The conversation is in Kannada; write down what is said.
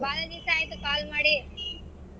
ಬಾಳ ದಿವ್ಸ ಆಯ್ತು call ಮಾಡಿ.